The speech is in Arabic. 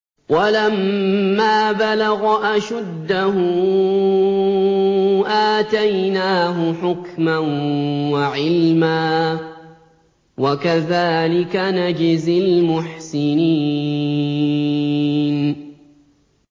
وَلَمَّا بَلَغَ أَشُدَّهُ آتَيْنَاهُ حُكْمًا وَعِلْمًا ۚ وَكَذَٰلِكَ نَجْزِي الْمُحْسِنِينَ